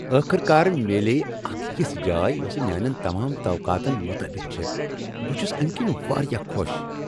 ٲخر کار، میلییہ اکھ یژھ جاے یۄس میٛانین تمام توقاہن مطٲبق چھےٚ، بہٕ چھس امہ کِنۍ واریاہ خۄش۔